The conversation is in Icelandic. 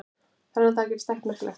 Þennan dag gerðist ekkert merkilegt.